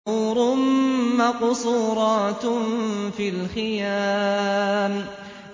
حُورٌ مَّقْصُورَاتٌ فِي الْخِيَامِ